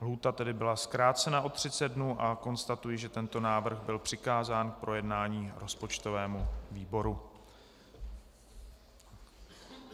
Lhůta tedy byla zkrácena o 30 dnů a konstatuji, že tento návrh byl přikázán k projednání rozpočtovému výboru.